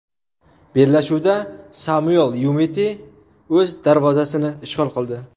Bellashuvda Samuel Yumiti o‘z darvozasini ishg‘ol qildi.